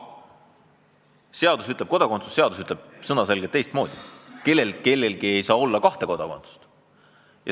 Aga kodakondsuse seadus ütleb selge sõnaga teistmoodi: kellelgi ei saa olla kahte kodakondsust.